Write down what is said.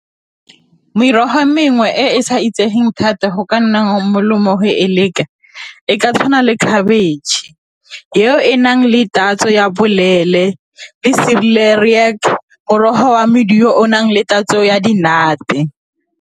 Merogo e mengwe e e sa itsegeng thata go ka nna go e leka, e ka tshwana le khabetšhe, yo enang le tatso ya boleele le morogo wa o na le tatso ya di-nut-e.